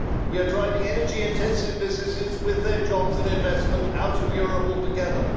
We are driving energy intensive businesses with their jobs and investment out of Europe altogether.